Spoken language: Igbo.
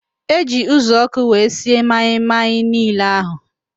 Eji uzuọkụ wee sie maị-maị niile ahụ